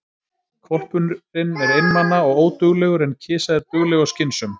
Hvolpurinn er einmana og óduglegur, en kisa er dugleg og skynsöm.